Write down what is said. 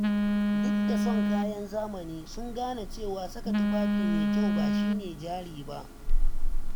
Duk da son kayan zamani, sun gane cewa saka tufafi mai kyau ba shi ne jari ba.